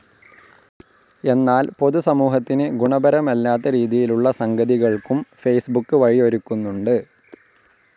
എന്നാൽ പൊതുസമൂഹത്തിന് ഗുണപരമല്ലാത്ത രീതിയിലുള്ള സംഗതികൾക്കും ഫേസ്ബുക്ക് വഴിയൊരുക്കുന്നുണ്ട്.